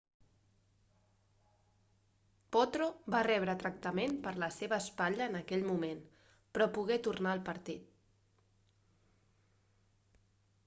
potro va rebre tractament per la seva espatlla en aquell moment però pogué tornar al partit